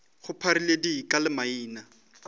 go pharile dika le maina